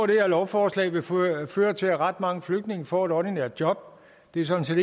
det her lovforslag vil føre til at ret mange flygtninge får et ordinært job det er sådan set